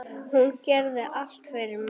Hún gerði allt fyrir okkur.